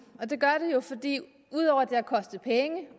og det gør det jo fordi ud over